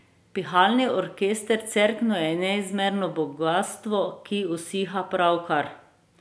Pihalni orkester Cerkno je neizmerno bogastvo, ki usiha pravkar.